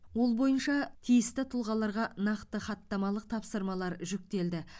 ол бойынша тиісті тұлғаларға нақты хаттамалық тапсырмалар жүктелді